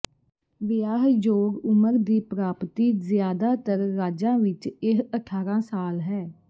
ਵਿਆਹਯੋਗ ਉਮਰ ਦੀ ਪ੍ਰਾਪਤੀ ਜ਼ਿਆਦਾਤਰ ਰਾਜਾਂ ਵਿੱਚ ਇਹ ਅਠਾਰਾ ਸਾਲ ਹੈ